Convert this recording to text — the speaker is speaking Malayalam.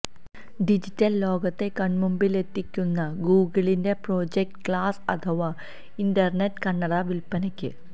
ഡിജിറ്റല് ലോകത്തെ കണ്മുമ്പിലെത്തിക്കുന്ന ഗൂഗിളിന്റെ പ്രോജക്റ്റ് ഗ്ലാസ് അഥവാ ഇന്റര്നെറ്റ് കണ്ണട വില്പനക്ക്